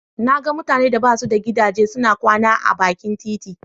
Na ga mutanen da ba su da gidaje suna kwana a bakin titi.